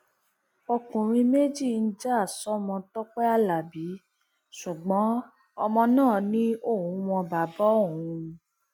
ọkùnrin méjì ń já sọmọ tọpẹ alábí ṣùgbọn ọmọ náà ni òun mọ bàbá òun